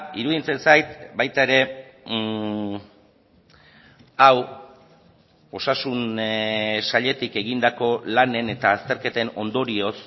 iruditzen zait baita ere hau osasun sailetik egindako lanen eta azterketen ondorioz